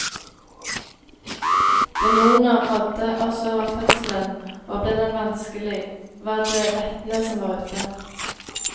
Demoner rådde også over fødselen, og ble den vanskelig, var det vettene som var ute.